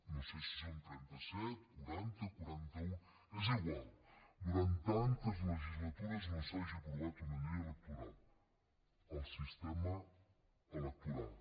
no sé si són trenta set quaranta quaranta un és igual durant tantes legislatures no s’hagi aprovat una llei electoral el sistema electoral